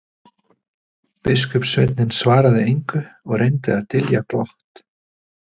Biskupssveinninn svaraði engu og reyndi að dylja glott.